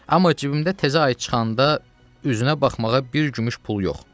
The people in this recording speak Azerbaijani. Amma cibimdə təzə ay çıxanda üzünə baxmağa bir gümüş pul yox.